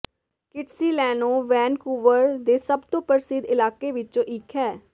Kitsilano Vancouver ਦੇ ਸਭ ਤੋਂ ਪ੍ਰਸਿੱਧ ਇਲਾਕੇ ਵਿੱਚੋਂ ਇੱਕ ਹੈ